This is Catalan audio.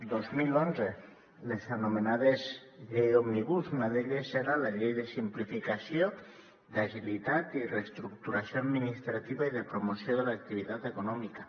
dos mil onze les anomenades lleis òmnibus una d’elles era la llei de simplificació d’agilitat i reestructuració administrativa i de promoció de l’activitat econòmica